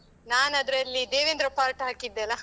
ನಾನದ್ರಲ್ಲಿ Devendra part ಹಾಕಿದ್ದೆಲ್ಲ?